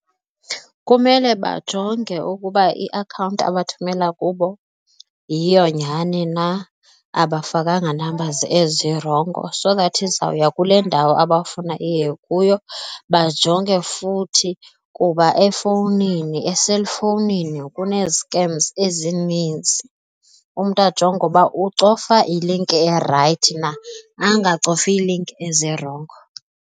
Kumele bajonge ukuba iakhawunti abathumelo kubo yiyo nyani na abafakanga number ezirongo so that izawuya kule ndawo abafuna iye kuyo. Bajonge futhi kuba efowunini eselfowunini kunee-scams ezininzi, umntu ajonge uba ucofa ilinki erayithi na angacofi iilinki ezirongo.